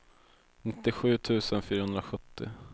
nittiosju tusen fyrahundrasjuttio